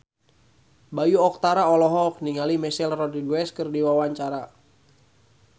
Bayu Octara olohok ningali Michelle Rodriguez keur diwawancara